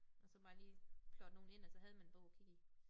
Og så bare lige plotte nogle ind og så havde man en bog at kigge i